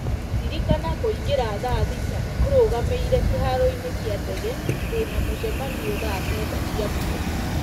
ririkana kũngĩra thaa thita ĩrũgamĩire kĩharo-inĩ kĩa ndege ndĩna mũcemanio thaa kenda cia mũthenya